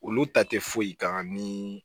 Olu ta tɛ foyi kan ni